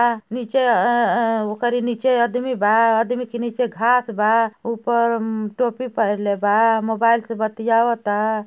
बा नीचे अ अ करी नीचे आदमी बा आदमी के नीचे घांस बा ऊपर अम्म टोपी पहले बा मोबाइल से बतियावता।